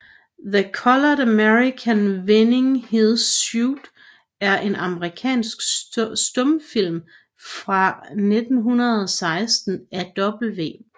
The Colored American Winning His Suit er en amerikansk stumfilm fra 1916 af W